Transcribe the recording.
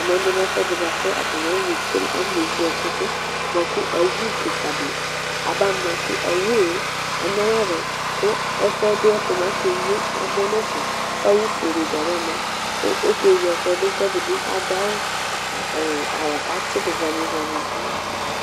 Ɛmɛbi lɛ ɛfʋɛdi bʋakʋ alɔnewle ɛkʋdʋ awʋ kikadi aba ma kʋ awʋe anyama dʋ kʋ ɛfʋɛ bi ɛtʋ akeyi amɔ nʋ ɛfɛ kʋ awʋ fuele di abama kʋ akewle ɛkʋɛ dʋ kʋ ɛdibi adʋ awʋ kʋ atsudʋ blamɛ blamɛ nʋ ayili